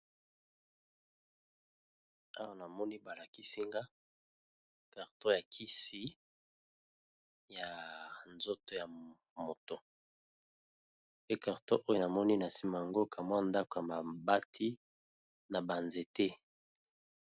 Awa namoni ba lakisinga carton ya kisi ya nzoto ya moto pe carton oyo namoni na nsima nango kamwa ndako ya mabati na ba nzete.